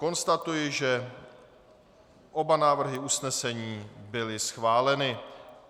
Konstatuji, že oba návrhy usnesení byly schváleny.